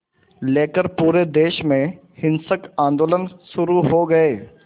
लेकर पूरे देश में हिंसक आंदोलन शुरू हो गए